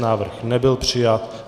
Návrh nebyl přijat.